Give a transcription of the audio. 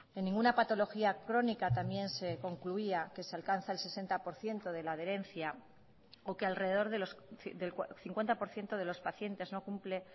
en ninguna patología crónica también se concluía que se alcanza el sesenta por ciento de la adherencia o que alrededor del cincuenta por ciento de los pacientes no cumple